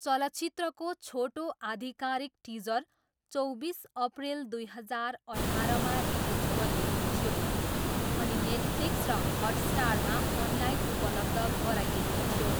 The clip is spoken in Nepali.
चलचित्रको छोटो आधिकारिक टिजर चौबिस अप्रिल दुई हजार अठारमा रिलिज गरिएको थियो अनि नेटफ्लिक्स र हटस्टारमा अनलाइन उपलब्ध गराइएको थियो।